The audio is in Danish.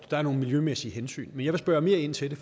der er nogle miljømæssige hensyn men jeg vil spørge mere ind til det